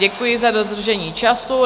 Děkuji za dodržení času.